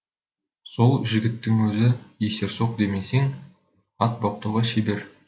сол жігіттің өзі есерсоқ демесең ат баптауға шебер